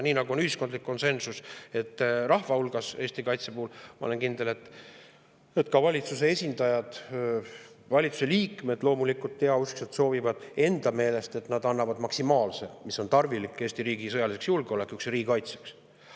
Nii nagu on ühiskondlik konsensus rahva hulgas Eesti kaitse puhul, olen ma kindel, et ka valitsuse esindajad, valitsuse liikmed loomulikult heauskselt soovivad enda meelest anda maksimaalse, mis on tarvilik Eesti riigi sõjaliseks julgeolekuks ja riigikaitseks.